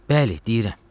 Bəli, deyirəm.